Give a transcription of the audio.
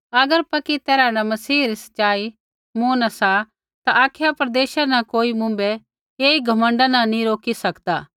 अगर पक्की तैरहा न मसीहा री सच़ाई मूँ न सा ता अखाया प्रदेशा न कोई मुँभै ऐई घमण्डा न रोकी नी सकदा